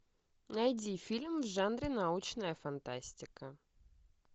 найди фильм в жанре научная фантастика